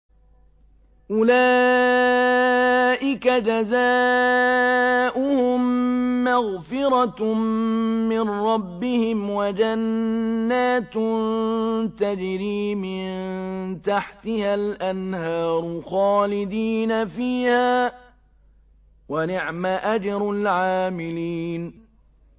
أُولَٰئِكَ جَزَاؤُهُم مَّغْفِرَةٌ مِّن رَّبِّهِمْ وَجَنَّاتٌ تَجْرِي مِن تَحْتِهَا الْأَنْهَارُ خَالِدِينَ فِيهَا ۚ وَنِعْمَ أَجْرُ الْعَامِلِينَ